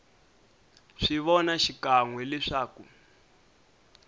swi vona xikan we leswaku